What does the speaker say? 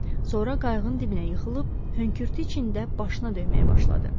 Sonra qayığın dibinə yıxılıb hönkürtü içində başına döyməyə başladı.